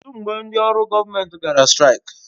Kedụ mgbe ndị ọrụ gọọmentị gara straik?